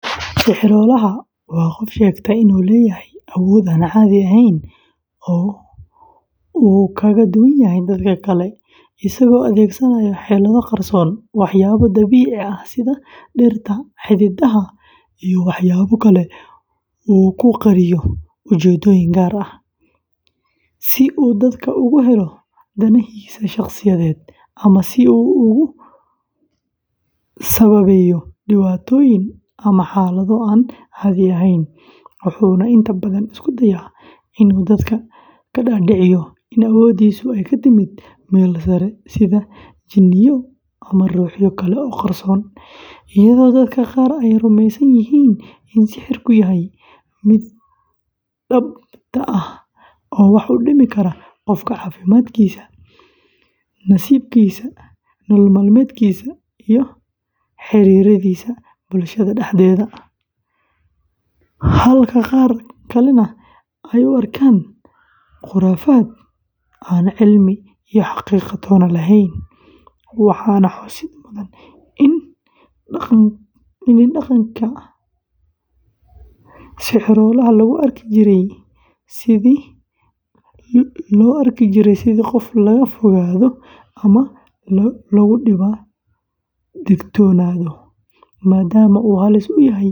Sixiroolaha waa qof sheegta inuu leeyahay awood aan caadi ahayn oo uu kaga duwanyahay dadka kale, isagoo adeegsanaya xeelado qarsoon, waxyaabo dabiici ah sida dhirta, xididada, iyo waxyaabo kale oo uu ku qariyo ujeedooyin gaar ah, si uu dadka uga helo danahiisa shakhsiyadeed ama si uu ugu sababeeyo dhibaatooyin ama xaalado aan caadi ahayn, wuxuuna inta badan isku dayaa inuu dadku ka dhaadhiciyo in awooddiisa ay ka timid meel sare sida jinniyo ama ruuxyo kale oo qarsoon, iyadoo dadka qaar ay rumaysan yihiin in sixirku yahay mid dhabta ah oo wax u dhimi kara qofka caafimaadkiisa, nasiibkiisa, nolol-maalmeedkiisa iyo xiriirradiisa bulshada dhexdeeda, halka qaar kalena ay u arkaan khuraafaad aan cilmi iyo xaqiiqo toona lahayn, waxaana xusid mudan in dhaqanka Soomaalida, sixiroolaha lagu arki jiray sidii qof laga fogaado.